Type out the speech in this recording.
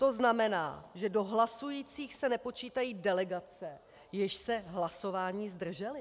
To znamená, že do hlasujících se nepočítají delegace, jež se hlasování zdržely.